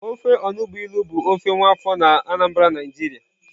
Ofe onugbụ ilu bụ ofe nwa afọ na Anambra Naijiria